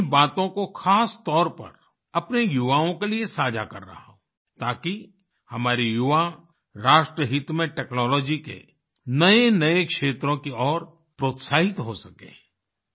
मैं इन बातों को खास तौर पर अपने युवाओं के लिए साझा कर रहा हूँ ताकि हमारे युवा राष्ट्रहित में टेक्नोलॉजी के नएनए क्षेत्रों की ओर प्रोत्साहित हो सकें